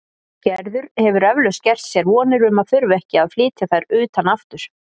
Gerður hefur eflaust gert sér vonir um að þurfa ekki að flytja þær utan aftur.